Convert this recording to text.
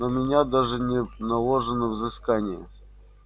на меня даже не наложено взыскание